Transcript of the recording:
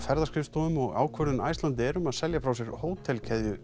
ferðaskrifstofum og ákvörðun Icelandair um að selja frá sér